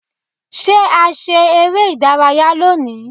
Ṣé a ṣe eré ìdárayá lónìí.?